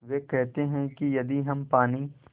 वे कहते हैं कि यदि हम पानी